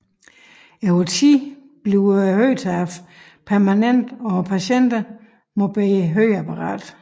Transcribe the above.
Over tid bliver høretabet permanent og patienterne må bære høreapparat